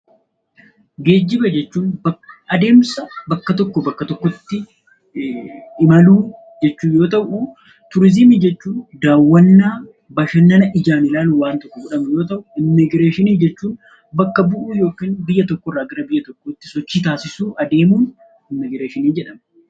Geejjiba jechuun adeemsa bakka tokkoo bakka tokkotti imaluu jechuu yoo ta'u; Turiiziimii jechuun daawwannaa, bashannana ijaan ilaaluun wantoota godhamu yoo ta'u; Immigireeshinii jechuun bakka bu'uu yookiin biyya tokko irraa biyya tokkotti sochii taasisuu, adeemuun 'Immigireeshinii' jedhama.